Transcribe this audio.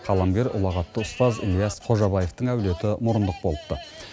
қаламгер ұлағатты ұстаз ілияс қожабаевтың әулеті мұрындық болыпты